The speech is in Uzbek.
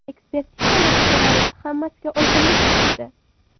Ekspertiza natijalari hammasiga oydinlik kiritdi.